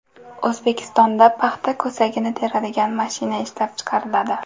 O‘zbekistonda paxta ko‘sagini teradigan mashina ishlab chiqariladi.